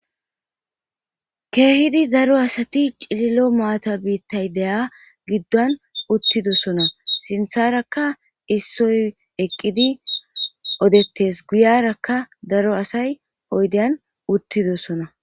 Kehiddi daro asatti cililo mattay deyia giddon uttidosonna sintharra ssoy eqqidi odettees guyerrakka darro asay oyddyan uttidossona.